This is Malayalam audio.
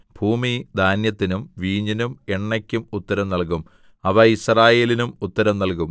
ഭൂമി ധാന്യത്തിനും വീഞ്ഞിനും എണ്ണയ്ക്കും ഉത്തരം നല്കും അവ യിസ്രയേലിനും ഉത്തരം നല്കും